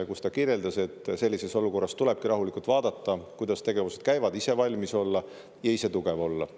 –, kus ta kirjeldas, et sellises olukorras tulebki rahulikult vaadata, kuidas tegevused käivad, ise valmis olla ja ise tugev olla.